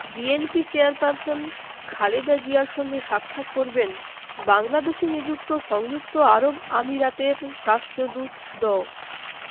BNP chairperson Khaleda জিয়ার সঙ্গে সাক্ষাৎ করবেন বাংলাদেশে নিযুক্ত সংযুক্ত আরব আমিরাতের রাষ্ট্রদূত ড